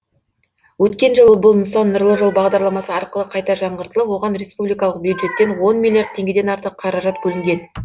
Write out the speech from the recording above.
өткен жылы бұл нысан нұрлы жол бағдарламасы арқылы қайта жаңғыртылып оған республикалық бюджеттен он миллиард теңгеден артық қаражат бөлінген